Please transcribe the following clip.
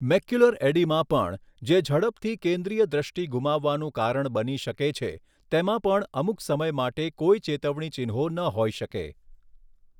Macular oedema પણ, જે ઝડપથી કેન્દ્રિય દૃષ્ટિ ગુમાવવાનું કારણ બની શકે છે, તેમાં પણ અમુક સમય માટે કોઈ ચેતવણી ચિહ્નો ન હોઈ શકે.